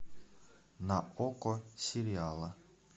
на окко сериалы